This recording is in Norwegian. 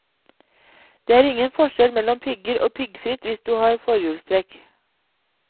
Det er ingen forskjell mellom pigger og piggfritt hvis du har forhjulstrekk.